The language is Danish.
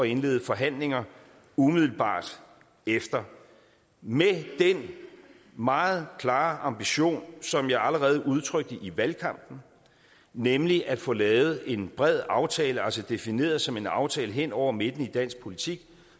indlede forhandlinger umiddelbart efter med den meget klare ambition som jeg allerede udtrykte i valgkampen nemlig at få lavet en bred aftale altså defineret som en aftale hen over midten i dansk politik